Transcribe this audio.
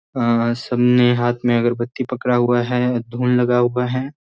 अ सबने हाथ में अगरबत्ती पकड़ा हुआ है धूल लगा हुआ है।